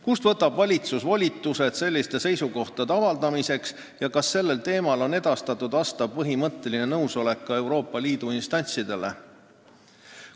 Kust võtab valitsus volitused selliste seisukohade avaldamiseks ja kas sellel teemal on edastatud vastav põhimõtteline nõusolek ka Euroopa Liidu instantsidele?